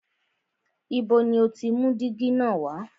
Ibo ni o ti mú dígí na wá?